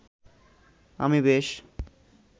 আমি বেশ